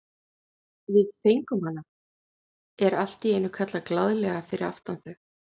Við fengum hana! er allt í einu kallað glaðlega fyrir aftan þau.